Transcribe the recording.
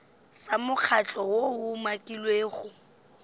sa mokgatlo woo o umakilwego